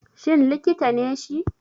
Shin likita ne shi?